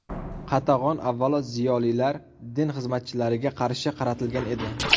Qatag‘on, avvalo, ziyolilar, din xizmatchilariga qarshi qaratilgan edi.